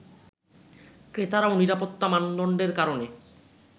ক্রেতারাও নিরাপত্তা মানদণ্ডের কারণে